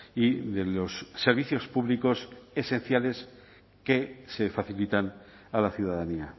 y de los servicios públicos esenciales que se facilitan a la ciudadanía